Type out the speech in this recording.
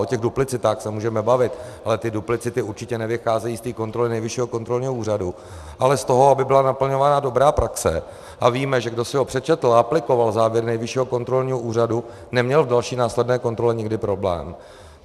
O těch duplicitách se můžeme bavit, ale ty duplicity určitě nevycházejí z té kontroly Nejvyššího kontrolního úřadu, ale z toho, aby byla naplňována dobrá praxe, a víme, že kdo si ho přečetl a aplikoval závěr Nejvyššího kontrolního úřadu, neměl v další následné kontrole nikdy problém.